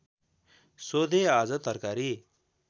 सोधे आज तरकारी